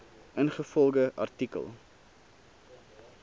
ingevolge artikel